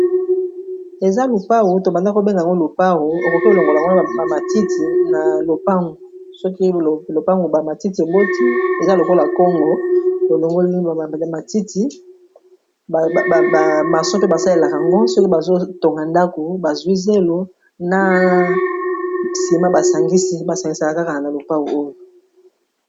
Eza lupau tobanda kobenga ngo lopau okoke elongola ngwana bamatiti na lopangu, soki lopango bamatiti eboti eza lokola kongo lolongoli bamatiti bamaso mpe basalelaka ngo soki bazotonga ndako bazwi zelo na nsima basangisi basangisaka kaka na lopau oyo.